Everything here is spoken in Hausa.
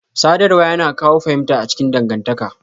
Sadarwa yana kawo fahimta a cikin dangantaka.